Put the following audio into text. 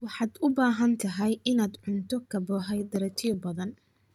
waxaad u baahan tahay inaad cunto karbohaydraytyo badan